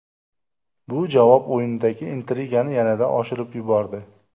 Bu javob o‘yinidagi intrigani yanada oshirib yubordi.